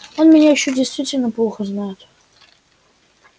он меня ещё действительно плохо знает